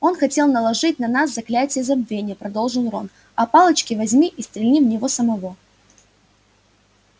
он хотел наложить на нас заклятие забвения продолжил рон а палочки возьми и стрельни в него самого